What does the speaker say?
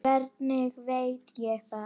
Hann var að sækja ljá.